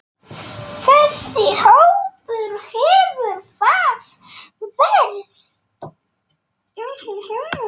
Þessi hópur hefur það verst.